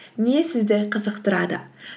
не сізді қызықтырады